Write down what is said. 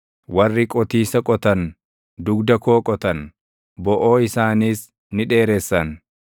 Warri qootiisa qotan dugda koo qotan; boʼoo isaaniis ni dheeressan.